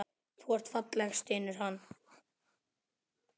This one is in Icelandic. Þú ert falleg, stynur hann.